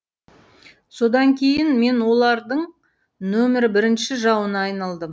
содан кейін мен олардың нөмірі бірінші жауына айналдым